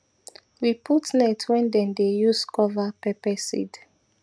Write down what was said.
we put net when them dey use cover pepper seed